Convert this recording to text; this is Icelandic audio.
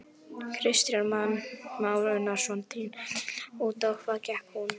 Kristján Már Unnarsson: Þín tillaga, út á hvað gekk hún?